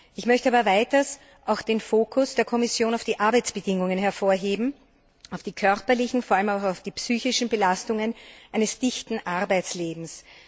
Ich möchte aber weiters den Fokus der Kommission auf die Arbeitsbedingungen hervorheben, auf die körperlichen und vor allem auch auf die psychischen Belastungen eines dichten Arbeitslebens.